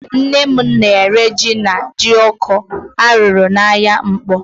Nne m na-ere jí na jioko a rụrụ n'ahịa Nkpọ.